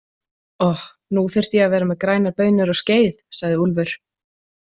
Oh, nú þyrfti ég að vera með grænar baunir og skeið, sagði Úlfur.